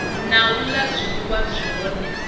na u la zwiliwa zwine